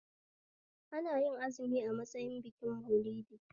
Anayin azumi a matsayin bikin Maulidi?